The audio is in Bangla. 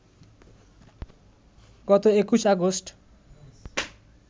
গত ২১ অগাস্ট